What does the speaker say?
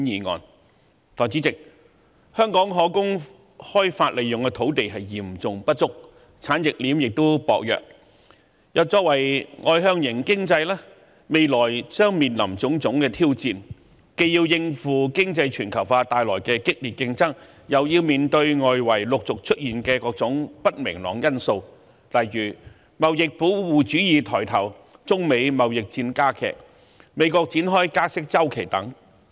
代理主席，香港可供開發利用的土地嚴重不足，產業鏈亦薄弱，作為外向型經濟，未來將面臨種種挑戰，既要應付經濟全球化帶來的激烈競爭，又要面對外圍陸續出現的各種不明朗因素，例如貿易保護主義抬頭、中美貿易戰加劇、美國展開加息周期等。